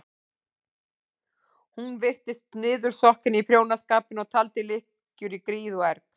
Hún virtist niðursokkin í prjónaskapinn og taldi lykkjur í gríð og erg.